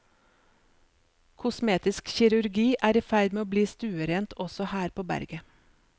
Kosmetisk kirurgi er i ferd med å bli stuerent også her på berget.